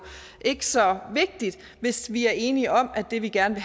ikke så vigtigt hvis vi er enige om at det vi gerne